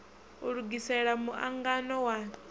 u lugisela mu angano wa